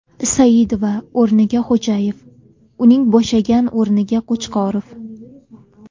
Saidova o‘rniga Xo‘jayev, uning bo‘shagan o‘rniga Qo‘chqorov.